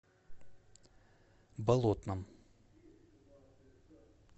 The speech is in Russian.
болотном